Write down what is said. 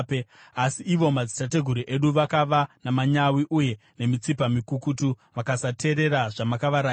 “Asi ivo madzitateguru edu, vakava namanyawi uye nemitsipa mikukutu, vakasateerera zvamakavarayira.